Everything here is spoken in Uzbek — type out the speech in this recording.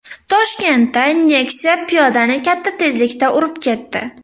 Toshkentda Nexia piyodani katta tezlikda urib ketdi .